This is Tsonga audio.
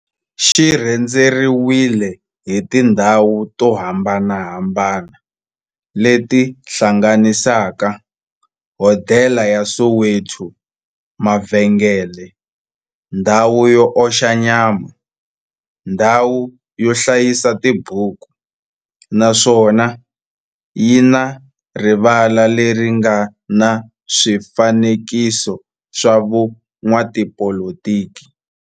xi rhendzeriwile hi tindhawu to hambanahambana le ti hlanganisaka, hodela ya Soweto, mavhengele, ndhawu yo oxa nyama, ndhawu yo hlayisa tibuku, naswona yi na rivala le ri nga na swifanekiso swa vo n'watipolitiki.